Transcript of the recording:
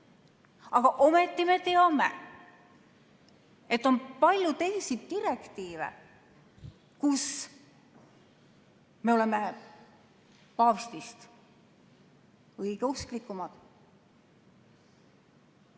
Aga ometi me teame, et on palju teisi direktiive, kus me oleme paavstist õigeusklikumad.